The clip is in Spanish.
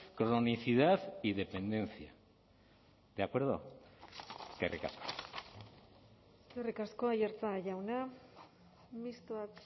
cronicidad y dependencia de acuerdo eskerrik asko eskerrik asko aiartza jauna mistoak